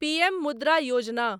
PM Mudra Yojana